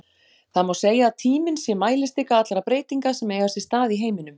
Það má segja að tíminn sé mælistika allra breytinga sem eiga sér stað í heiminum.